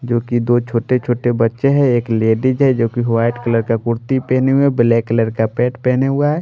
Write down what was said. जो कि दो छोटे छोटे बच्चे हैं एक लेडीज है जो कि वाइट कलर का कुर्ती पहनी हुए ब्लैक कलर का पेट पहने हुआ है।